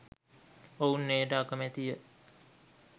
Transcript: ඔවුන් එයට අකමැති ය